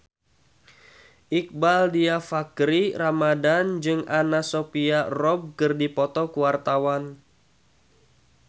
Iqbaal Dhiafakhri Ramadhan jeung Anna Sophia Robb keur dipoto ku wartawan